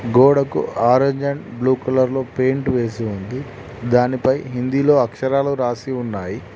గోడకు orange and blue colour లో paint వేసి ఉంది దానిపై హిందీలో అక్షరాలు రాసి ఉన్నాయి.